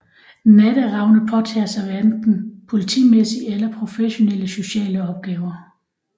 Natteravne påtager sig hverken politimæssige eller professionelle sociale opgaver